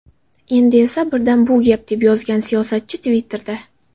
Endi esa birdan bu gap”, deb yozgan siyosatchi Twitter’da.